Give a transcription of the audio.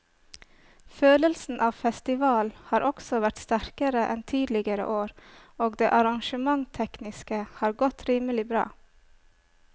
Følelsen av festival har også vært sterkere enn tidligere år og det arrangementstekniske har godt rimelig bra.